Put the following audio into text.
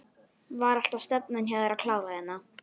Var alltaf stefnan hjá þér að klára hérna?